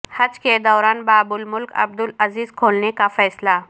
حج کے دوران باب الملک عبدالعزیز کھولنے کا فیصلہ